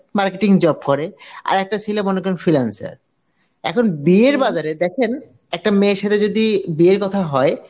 marketing job করে, আর একটা ছেলে মনে করেন freelancer এখন বিয়ের বাজারে দেখেন একটা মেয়ের সাথে যদি বিয়ের কথা হয়